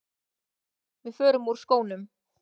Við förum úr skónum.